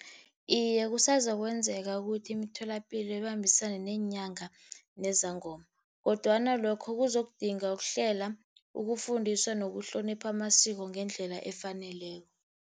Iye, kusazokwenzeka ukuthi imitholapilo ibambisane neenyanga nezangoma, kodwana lokho kuzokudinga ukuhlela, ukufundiswa nokuhlonipha amasiko ngendlela efaneleko.